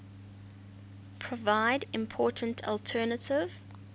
provide important alternative